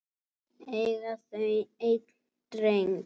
Eiga þau einn dreng.